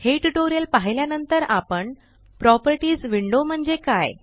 हे ट्यूटोरियल पाहिल्यानंतर आपण प्रॉपर्टीस विंडो म्हणजे काय